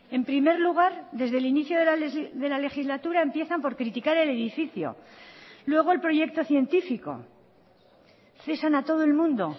en primer lugar desde el inicio de la legislatura empiezan por criticar el edificio luego el proyecto científico cesan a todo el mundo